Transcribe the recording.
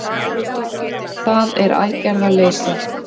Það er aðgerðaleysið